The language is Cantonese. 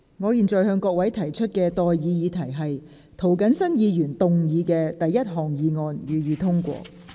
我現在向各位提出的待議議題是：涂謹申議員動議的第一項議案，予以通過。